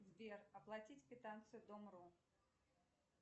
сбер оплатить квитанцию дом ру